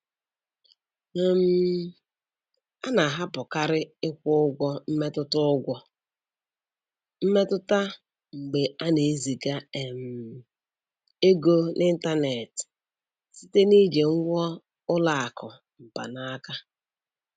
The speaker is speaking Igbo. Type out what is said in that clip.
um A na-ahapụkarị ịkwụ ụgwọ mmetụta ụgwọ mmetụta mgbe ana-eziga um ego n'ịntanetị site na iji ngwa ụlọ akụ mkpanaka.